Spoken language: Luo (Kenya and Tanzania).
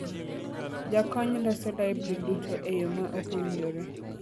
Jakony loso laibri duto e yo ma ok owinjore